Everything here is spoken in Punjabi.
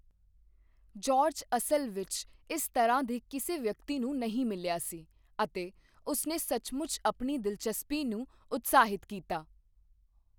ਜਾਰਜ ਅਸਲ ਵਿੱਚ ਇਸ ਤਰ੍ਹਾਂ ਦੇ ਕਿਸੇ ਵਿਅਕਤੀ ਨੂੰ ਨਹੀਂ ਮਿਲਿਆ ਸੀ, ਅਤੇ ਉਸਨੇ ਸੱਚਮੁੱਚ ਆਪਣੀ ਦਿਲਚਸਪੀ ਨੂੰ ਉਤਸ਼ਾਹਿਤ ਕੀਤਾ।